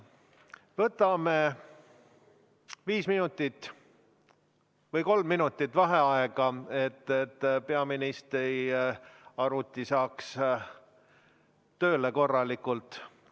Võtame kolm minutit vaheaega, et peaministri arvuti saaks korralikult tööle.